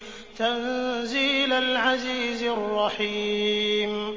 تَنزِيلَ الْعَزِيزِ الرَّحِيمِ